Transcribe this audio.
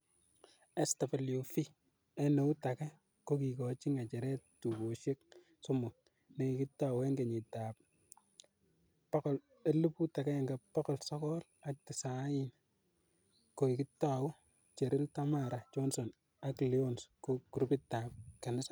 SWV en eut age, ko kikochi ngecheret tugosiek somok, nekikitou en kenyiteb 1990 kokitou Cheryl, TamaraJohson ak Lyons ko grupitab kanisa